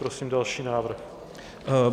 Prosím další návrh.